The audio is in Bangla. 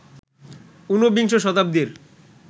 উনবিংশ শতাব্দীর